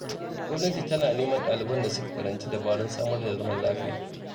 Gwamnati tana neman ɗaliban da suka karanci dabarun samar da zaman lafiya.